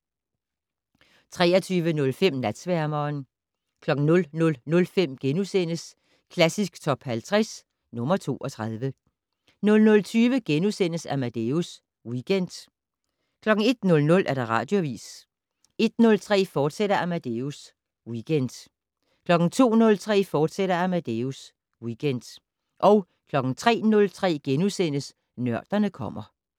23:05: Natsværmeren 00:05: Klassisk Top 50 - nr. 32 * 00:20: Amadeus Weekend * 01:00: Radioavis 01:03: Amadeus Weekend, fortsat 02:03: Amadeus Weekend, fortsat 03:03: Nørderne kommer *